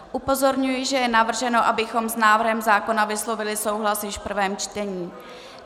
Upozorňuji, že je navrženo, abychom s návrhem zákona vyslovili souhlas již v prvém čtení.